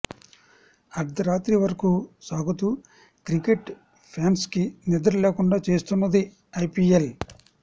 అర్ధరాత్రి వరకు సాగుతూ క్రికెట్ ఫ్యాన్స్కు నిద్ర లేకుండా చేస్తున్నది ఐపీఎల్